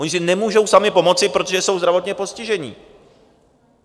Oni si nemůžou sami pomoci, protože jsou zdravotně postižení.